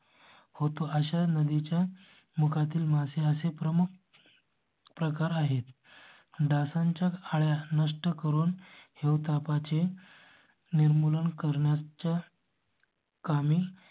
होतो अशा नदीच्या मुखा तील मासे असे प्रमुख. प्रकार आहेत. डासांच्या अळ्या नष्ट करून हिवतापा चे. निर्मूलन करण्याच्या. आम्ही